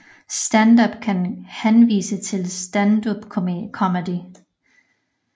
Stand Up kan henvise til standupcomedy